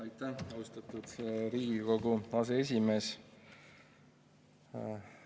Aitäh, austatud Riigikogu aseesimees!